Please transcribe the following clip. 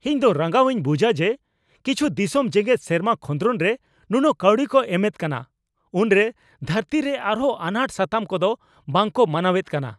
ᱤᱧ ᱫᱚ ᱨᱟᱸᱜᱟᱣᱤᱧ ᱵᱩᱡᱷᱟ ᱡᱮ ᱠᱤᱪᱷᱩ ᱫᱤᱥᱚᱢ ᱡᱮᱜᱮᱫ ᱥᱮᱨᱢᱟ ᱠᱷᱚᱫᱨᱚᱱ ᱨᱮ ᱱᱩᱱᱟᱹᱜ ᱠᱟᱹᱣᱰᱤ ᱠᱚ ᱮᱢᱮᱫ ᱠᱟᱱᱟ ᱩᱱᱨᱮ ᱫᱷᱟᱹᱨᱛᱤᱨᱮ ᱟᱨᱦᱚᱸ ᱟᱱᱟᱴ ᱥᱟᱛᱟᱢ ᱠᱚᱫᱚ ᱵᱟᱝ ᱠᱚ ᱢᱟᱱᱟᱣᱮᱫ ᱠᱟᱱᱟ ᱾